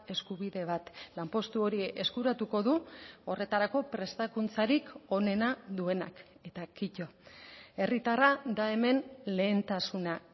eskubide bat lanpostu hori eskuratuko du horretarako prestakuntzarik onena duenak eta kito herritarra da hemen lehentasuna